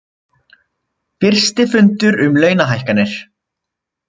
Fyrsti fundur um launahækkanir